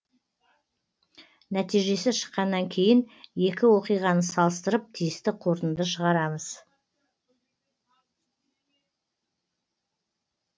нәтижесі шыққаннан кейін екі оқиғаны салыстырып тиісті қорытынды шығарамыз